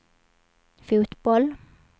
fotboll